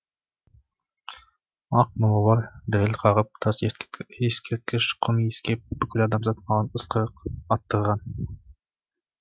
ақ молалар діріл қағып тас ескерткіш құм иіскеп бүкіл адамзат маған ысқырық аттырған